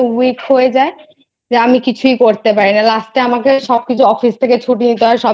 Weak হয়ে যায় যে আমি কিছুই করতে পারি না last এ আমাকে সব কিছু Office থেকে ছুটি নিতে হয়